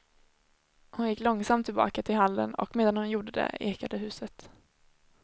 Hon gick långsamt tillbaka till hallen, och medan hon gjorde det ekade huset.